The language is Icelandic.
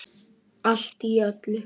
Allt í öllu.